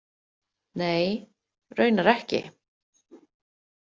Nei, raunar ekki.